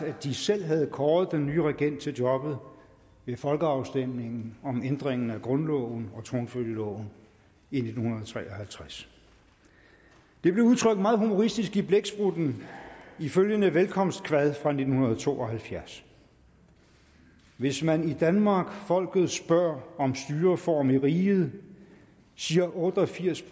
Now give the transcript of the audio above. at de selv havde kåret den nye regent til jobbet ved folkeafstemningen om ændringen af grundloven og tronfølgeloven i nitten tre og halvtreds det blev udtrykt meget humoristisk i blæksprutten i følgende velkomstkvad fra nitten to og halvfjerds hvis man i danmark folket spør om styreform i riget sir otte og firs